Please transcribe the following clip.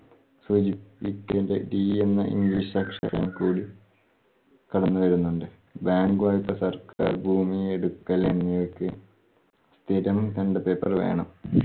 സൂചിപ്പി D എന്ന English അക്ഷരം കൂടി കടന്നു വരുന്നുണ്ട്. bank വായ്പ്പ സർക്കാർ ഭൂമിയെടുക്കലങ്ങേയ്ക്ക് സ്ഥിരം paper വേണം.